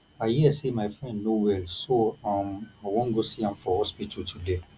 i hear say my friend no well so um i wan go see am for hospital today